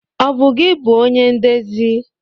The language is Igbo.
Ọ bụ gi bụonye ndezi?